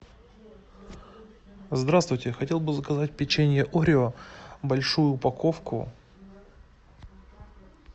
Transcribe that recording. здравствуйте хотел бы заказать печенье орио большую упаковку